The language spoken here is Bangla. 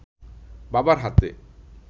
বাবার হাতে